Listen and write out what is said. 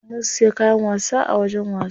Mun siya kayan wasa a wajen wasa.